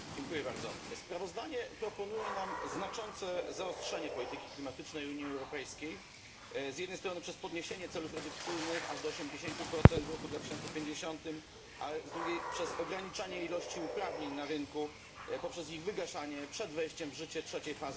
Sprawozdanie proponuje nam znaczące zaostrzenie polityki klimatycznej Unii Europejskiej, z jednej strony przez podniesienie celów redukcyjnych aż do 80 w roku 2050, a z drugiej przez ograniczanie ilości uprawnień na rynku poprzez ich wygaszanie przed wejściem w życie trzeciej fazy ETS u.